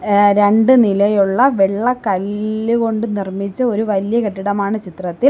A രണ്ട് നിലയുള്ള വെള്ള കല്ല് കൊണ്ട് നിർമ്മിച്ച ഒരു വല്യ കെട്ടിടമാണ് ചിത്രത്തിൽ.